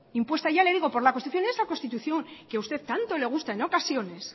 impuesta ya le digo por la constitución esa constitución que a usted tanto le gusta en ocasiones